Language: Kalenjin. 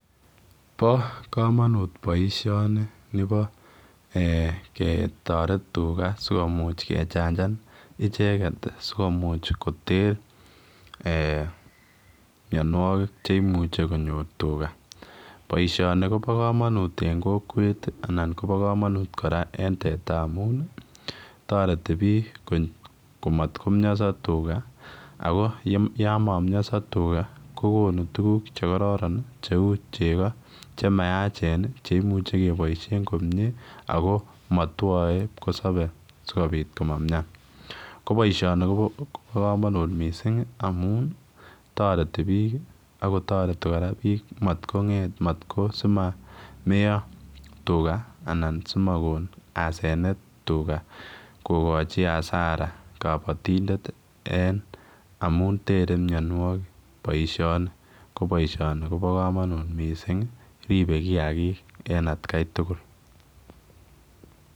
Bo kamanut nibo ketareteen tugaah sikomuuch kechangan ichegeet ii sikomuuch koter mianwagik che imuchei konyoor tugaah, boisioni kobaa kamanuut en kokwet anan koba kamanut en teta amuun taretii biik biik komat komiasa tugaah ago ako yaan mamiasa tugaa ko konuu tuguuk che kororon cheu chegoo che mayacheen cheimuchii kebaisheen komyei ako matwae kipkosabe sikobiit komamin ko boisioni kobaa kamanuut amuun taretii biik mako simaneya tugaah anan simakoon asenet tugaah kokochii hasara kabatindet amuun there mianwagik boisioni ko boisioni nitoon kobaa kamanuut missing ripee kiagik en at gai tugul.